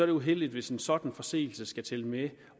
det uheldigt hvis en sådan forseelse skal tælle med